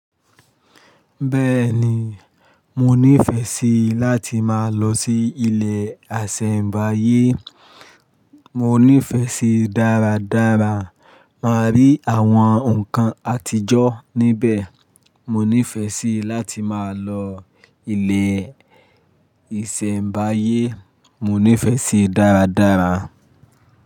Bẹ́ẹ̀ni, mo nífẹsí láti máa lọ sí ilẹ̀ asẹ̀mbáyé. Mo nífẹsí dáradára, máa rí àwọn nkan àtijọ́ níbẹ̀. Mo nífẹsí láti máa lọ ilẹ̀ ìsẹ̀mbáyé. Mo nífẹsí dáradára.